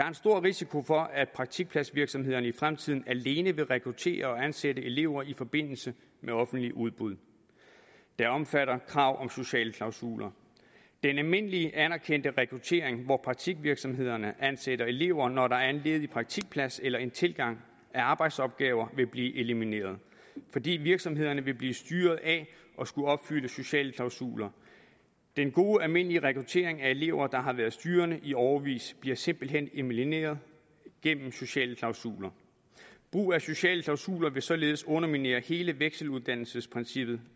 en stor risiko for at praktikpladsvirksomhederne i fremtiden alene vil rekruttere og ansætte elever i forbindelse med offentlige udbud der omfatter krav om sociale klausuler den almindelige anerkendte rekruttering hvor praktikvirksomhederne ansætter elever når der er en ledig praktikplads eller en tilgang af arbejdsopgaver vil blive elimineret fordi virksomhederne vil blive styret af at skulle opfylde sociale klausuler den gode almindelige rekruttering af elever der har været styrende i årevis bliver simpelt hen elimineret gennem sociale klausuler brug af sociale klausuler vil således underminere hele vekseluddannelsesprincippet